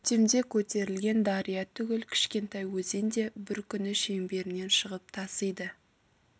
көктемде көтерілген дария түгіл кішкентай өзен де бір күні шеңберінен шығып тасиды